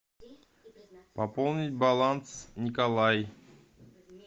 пополнить баланс николай